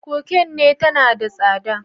Cocaine tana da tsada.